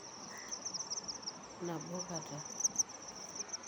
Nabokata.